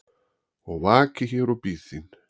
og vaki hér og bíð þín